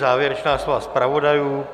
Závěrečná slova zpravodajů.